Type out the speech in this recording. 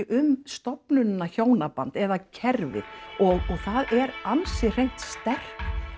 um stofnunina hjónaband eða kerfið og það eru ansi hreint sterk